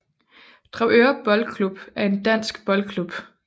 Dragør Boldklub er en dansk fodboldklub